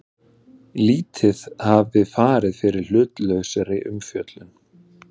Lítið hafi farið fyrir hlutlausri umfjöllun